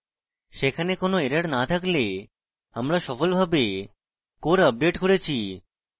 সেখানে কোনো errors no থাকলে আমরা সফলভাবে core আপডেট করেছি